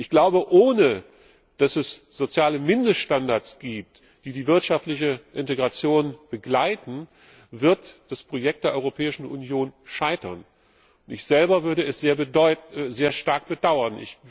Ich glaube, ohne soziale Mindeststandards, die die wirtschaftliche Integration begleiten, wird das Projekt der Europäischen Union scheitern. Ich selber würde es sehr stark bedauern.